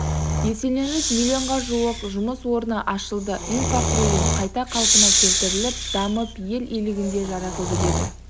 еселеніп миллионға жуық жұмыс орны ашылды инфрақұрылым қайта қалпына келтіріліп дамып ел игілігіне жаратылды деді